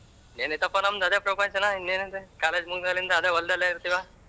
ಇನ್ನೇನ್ ಐಯ್ತಪ್ಪಾ ನಮ್ಮದು ಅದೆ ಪ್ರಪಂಚನ ಇನ್ನೇನ ಅದೆ college ಮುಗದಾಲ್ಲಿಂದ ಅದೇ ಹೊಲದಲೇ ಇರತಿವಾ.